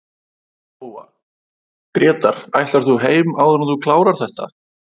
Lóa: Grétar ætlar þú heim áður en þú klárar þetta?